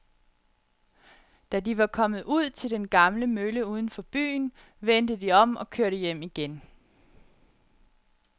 Da de var kommet ud til den gamle mølle uden for byen, vendte de om og kørte hjem igen.